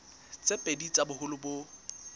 tse pedi tsa boholo bo